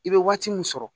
I bɛ waati min sɔrɔ